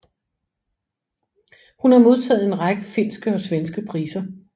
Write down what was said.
Hun har modtaget en række finske og svenske priser